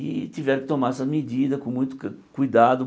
E tiveram que tomar essa medida com muito ca cuidado.